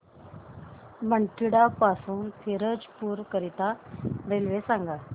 बठिंडा पासून फिरोजपुर करीता रेल्वे सांगा